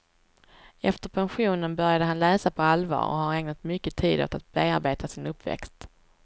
Efter pensionen började han läsa på allvar och har ägnat mycket tid åt att bearbeta sin uppväxt.